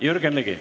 Jürgen Ligi.